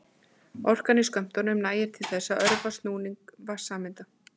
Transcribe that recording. Orkan í skömmtunum nægir til þess að örva snúning vatnssameinda.